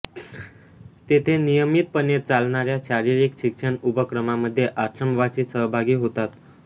तेथे नियमितपणे चालणाऱ्या शारीरिक शिक्षण उपक्रमामध्ये आश्रमवासी सहभागी होतात